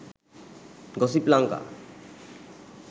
gossip lanka